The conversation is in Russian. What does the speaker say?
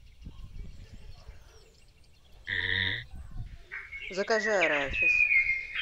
закажи арахис